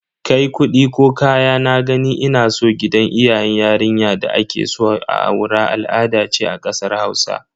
Kai kudi ko kayan "na gani ina so" gidan iyayen yarinya da akeso a aura al'ada ce a kasar Hausa.